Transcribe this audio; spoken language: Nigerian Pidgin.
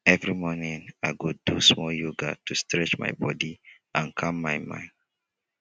every morning i go do small yoga to stretch my body and calm my mind.